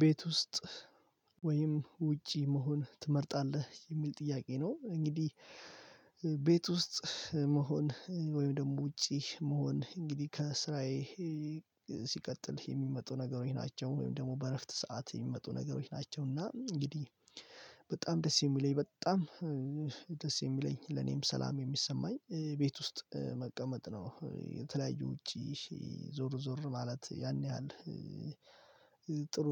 ቤት ውስጥ ወይም ውጪ መሆን ትመርጣለህ? የሚል ጥያቄ ነው እንግዲህ ውስጥ መሆን ወይም ደግሞ ውጪ መሆን እንግዲህ ከስራዬ ሲቀጥል የሚመጡ ነገሮች ናቸው ወይም ደግሞ በእረፍት ሰዓት የሚመጡ ነገሮች ናቸው እና እንግዲህ በጣም ደስ የሚለኝ በጣም ደስ የሚለኝ ለኔም ሰላም የሚሰማኝ ቤት ውስጥ መቀመጥ ነው የተለያዩ ውጪ ዞር ዞር ማለት ያን ያህል ጥሩ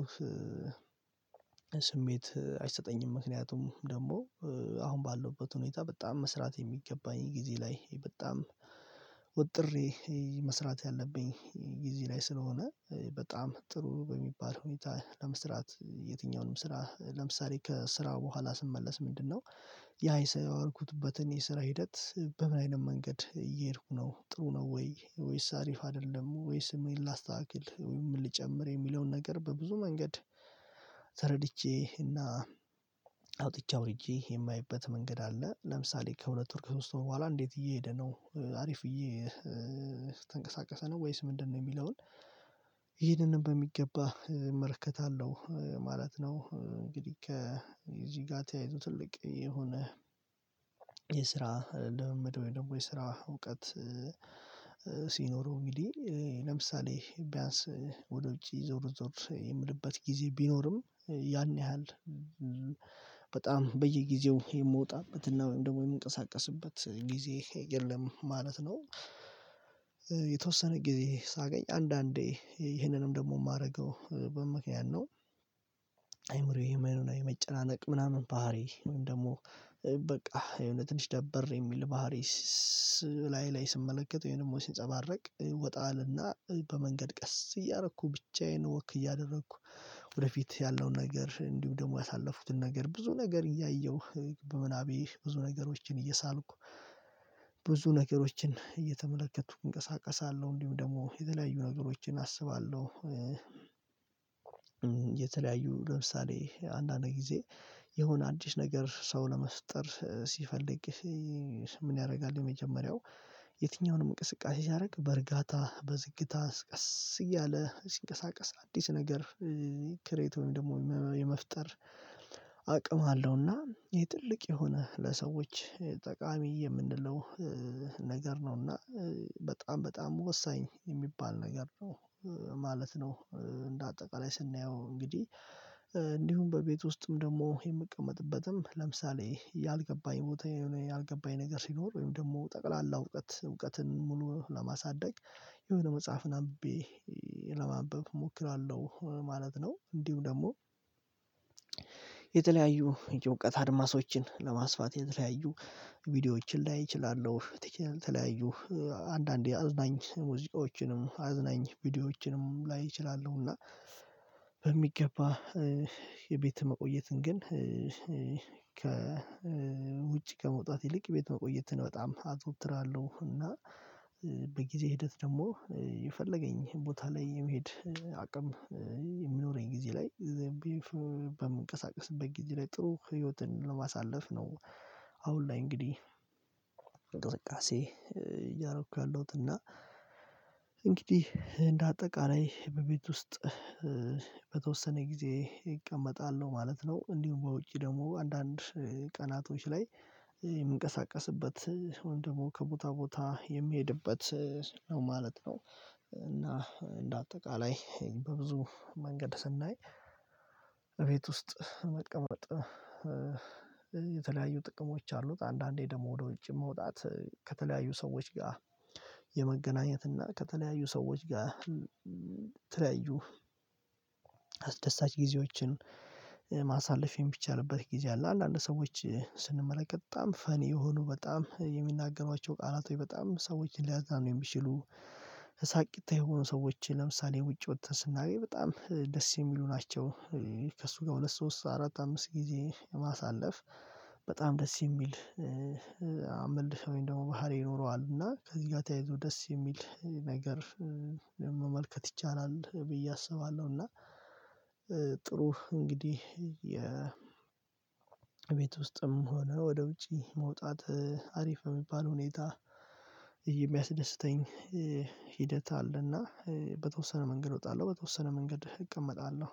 ስሜት አይሰጠኝም፣ ምክንያቱም ደግሞ አሁን ባለውበት ሁኔታ በጣም መስራት የሚገባኝ ጊዜ ላይ በጣም ወጥሬ መስራት ያለብኝ ጊዜ ላይ ስለሆነ በጣም ጥሩ በሚባል ሁኔታ ለመስራት የትኛውንም ስራ ለምሳሌ ከስራው በኋላ ስመለስ ምንድነው ያ ሰራ የዋልኩትበትን የስራ ሂደት በምን አይነት መንገድ እየሄድኩ ነው ጥሩ ነው ወይ ወይስ አሪፍ አይደለም ወይስ ስሜን ላስተካክል ምን ልጨምር የሚለውን ነገር በብዙ መንገድ ተረድቼ እና አውጥቼ አውርጄ የማይበት መንገድ አለ ለምሳሌ ከሁለት ወር ሶስት ወር በኋላ እንዴት እየሄደ ነው አሪፍዬ እየተንቀሳቀሰ ነው ወይስ ምንድነው የሚለውን ይሄንንም በሚገባ እመርከታለሁ ማለት ነው፣ እንግዲህ ከዚህ ጋር ተያይዞ ትልቅ የሆነ የስራ ለመመደብ ወይ ደግሞ የስራ እውቀት ሲኖረው እንግዲህ ለምሳሌ ቢያንስ ወደ ውጪ ዞር ዞር የምልበት ጊዜ ቢኖርም ያን ያህል በጣም በየጊዜው የምወጣበት እና ወይም ደግሞ የምንቀሳቀስበት ጊዜ የለም ማለት ነው። የተወሰነ ጊዜ ሳገኝ አንዳንዴ ይህንንም ደግሞ የማደርገው በምክንያት ነው። አይምሮዬ የመኖና የመጨናነቅ ምናምን ባህሪ ወይም ደግሞ በቃ የሆነ ትንሽ ደበር የሚል ባህሪ እላዬ ላይ ስመለከተው ወይም ደግሞ ሲንጸባረቅ ወጣ እለና በመንገድ ቀስ እያደረኩ ብቻዬን ወክ እያደረኩ ወደፊት ያለውን ነገር እንዲሁ ደግሞ ያሳለፍኩትን ነገር ብዙ ነገር እያየሁ በምናቤ ብዙ ነገሮችን እየሳልኩ ብዙ ነገሮችን እየተመለከቱ እንቀሳቀሳለሁ፣ እንዲሁም ደግሞ የተለያዩ ነገሮችን አስባለሁ የተለያዩ ለምሳሌ አንዳንድ ጊዜ የሆነ አዲስ ነገር ሰው ለመፍጠር ሲፈልግ ምን ያደርጋል የመጀመሪያው የትኛውንም እንቅስቃሴ ሲያደርግ በእርጋታ በዝግታ ቀስ እያለ ሲንቀሳቀስ አዲስ ነገር ክሬት ወይም ደግሞ የመፍጠር አቅም አለውና፣ የጥልቅ የሆነ ለሰዎች ጠቃሚ የምንለው ነገር ነው እና በጣም በጣም ወሳኝ የሚባል ነገር ነው። ማለት ነው እንደ አጠቃላይ ስናየው እንግዲህ እንዲሁም በቤት ውስጥም ደግሞ የምቀመጥበትም ለምሳሌ ያልገባኝ ቦታ ያልገባኝ ነገር ሲኖር ወይም ደግሞ ጠቅላላ እውቀት እውቀትን ሙሉ ለማሳደግ የሆነ መጽሐፍን አንብቤ ለማንበብ እሞክራለሁ ማለት ነው እንዲሁ ደግሞ የተለያዩ የእውቀት አድማሶችን ለማስፋት የተለያዩ ቪዲዮዎችን ላይ እችላለሁ የተለያዩ አንዳንዴ አዝናኝ ሙዚቃዎችንም አዝናኝ ቪዲዮዎችንም ላይ እችላለሁ እና በሚገባ የቤት መቆየትን ግን ከ ውጭ ከመውጣት ይልቅ ቤት መቆየትን በጣም አዘውትራለሁ እና በጊዜ ሂደት ደግሞ የፈለገኝ ቦታ ላይ የመሄድ አቅም የሚኖረኝ ጊዜ ላይ በምንቀሳቀስበት ጊዜ ላይ ጥሩ ህይወትን ለማሳለፍ ነው አሁን ላይ እንግዲህ እንቅስቃሴ እያደረኩ ያለሁት፣ እና እንግዲህ እንደ አጠቃላይ በቤት ውስጥ በተወሰነ ጊዜ እቀመጣለሁ ማለት ነው። እንዲሁም በውጪ ደግሞ አንዳንድ ቀናቶች ላይ የምንቀሳቀስበት ወይም ደግሞ ከቦታ ቦታ የሚሄድበት ነው ማለት ነው እና እንደ አጠቃላይ በብዙ መንገድ ስናይ እቤት ውስጥ መቀመጥ የተለያዩ ጥቅሞች አሉት። አንዳንዴ ደግሞ ወደ ውጭ መውጣት ከተለያዩ ሰዎች ጋር የመገናኘት እና ከተለያዩ ሰዎች ጋር የተለያዩ አስደሳች ጊዜዎችን ማሳለፍ የሚቻልበት ጊዜ አለ። አንዳንድ ሰዎች ስንመለከት በጣም ፈኒ የሆኑ በጣም የሚናገሯቸው ቃላቶች በጣም ሰዎች ሊያዝናኑ የሚችሉ ሳቂታ የሆኑ ሰዎች ለምሳሌ ውጪ ወጥተን ስናገኝ በጣም ደስ የሚሉ ናቸው። ከእሱ ጋር ሁለት ሶስት አራት አምስት ጊዜ በማሳለፍ በጣም ደስ የሚል አምልሰውኝ ደግሞ ባህሪ ይኖረዋል እና ከዚህ ጋር ተያይዞ ደስ የሚል ነገር መመልከት ይቻላል ብዬ አስባለሁ፣ እና ጥሩ እንግዲህ የቤት ውስጥም ሆነ ወደ ውጪ መውጣት አሪፍ በሚባል ሁኔታ የሚያስደስተኝ ሂደት አለና በተወሰነ መንገድ እወጣለሁ በተወሰነ መንገድ እቀመጣለሁ